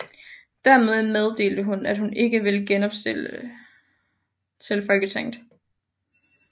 Derefter meddelte hun at hun ikke vil genopstille til Folketinget